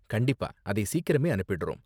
கண்டிப்பா, அதை சீக்கிரமே அனுப்பிடுறோம்.